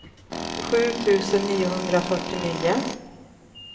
sju tusen niohundrafyrtionio